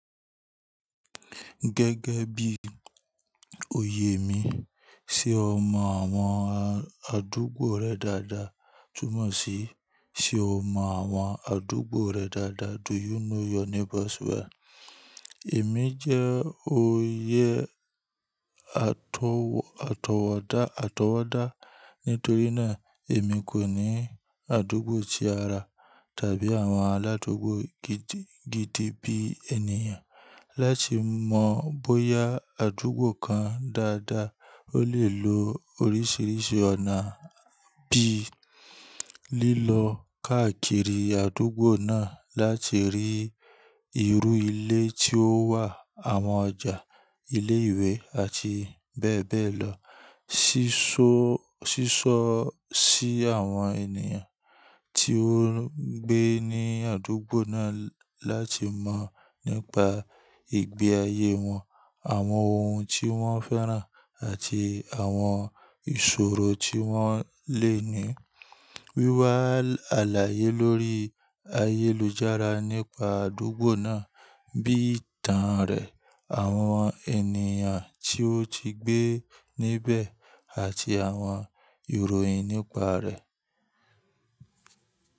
Gẹ́gẹ́ bí oyè mi, ṣe o mọ àwọn àdúgbò rẹ dáadáa? Túnmọ̀ sí, ṣe o mọ àwọn àdúgbò rẹ dáadáa? Do you know your neighbors well? Èmi jẹ́ oyè àtọwọ́dá, àtọwọ́dá nítorí náà èmi kò ní àdúgbò tí ara tàbí àwọn aládúgbò gidi bí ènìyàn. Láti mọ bóyá àdúgbò kan dáadáa, o lè lo oríṣìíríṣìí ọ̀nà bíi lílọ káàkiri àdúgbò náà láti rí irú ilé tí ó wà, àwọn ọjà, ilé ìwé àti bẹ́ẹ̀ bẹ́ẹ̀ lọ. Sísọ sí àwọn ènìyàn tí ó ń gbé ní àdúgbò náà láti mọ̀ nípa ìgbé ayé wọn, àwọn ohun tí wọ́n fẹ́ràn àti àwọn ìṣòro tí wọ́n lè ní. Wíwá àlàyé lórí ayélujára nípa àdúgbò náà bí i ìtàn rẹ̀, àwọn ènìyàn tí ó ti gbé níbẹ̀ àti àwọn ìròyìn nípa rẹ̀.